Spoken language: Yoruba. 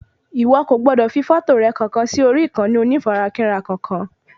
Ìwo kò gbọdọ̀ fi fọ́tò rẹ kankan sí orí ìkànnì onífarakínra kankan